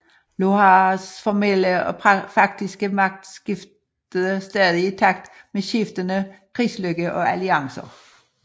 Lothars formelle og faktiske magt skiftede stadig i takt med skiftende krigslykke og alliancer